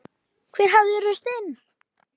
Hver hafði ruðst inn?